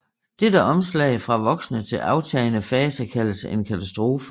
Dette omslag fra voksende til aftagende fase kaldes en katastrofe